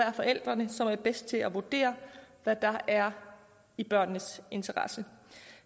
forældrene som er bedst til at vurdere hvad der er i børnenes interesse